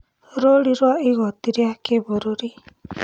Rũũri rwa igoti rĩa kĩbũrũri